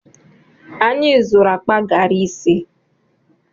Anyị zụrụ akpa gari ise.